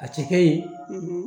A tɛ kɛ yen